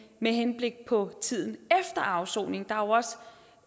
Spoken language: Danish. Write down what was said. med henblik på tiden efter afsoning der